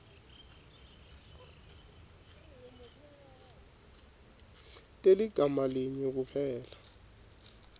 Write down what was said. teligama linye kuphela